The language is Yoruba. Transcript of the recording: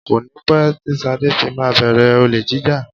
Kọ́ni pé tí Sade fi máa bẹ̀rẹ̀ olè jíjà